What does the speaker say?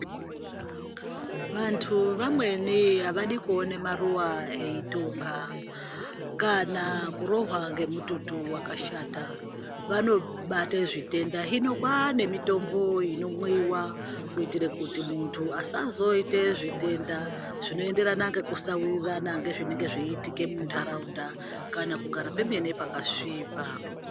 Vantu vamweni avadi kuuona maruwa eitunga kana kurohwa ngemututu wakashata vanobate zvitenda hino kwane mitombo inomwiwa kuitira kuti muntu asazoite zvitenda zvinoenderana ngekusawirirana nezvenge zveiitika muntaraunda kana kugara pemene pakasvipa.